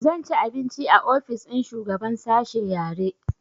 Zan ci abinci a ofis ɗin shugaban sashe yare